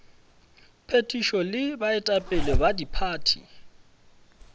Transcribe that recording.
phethišo le baetapele ba diphathi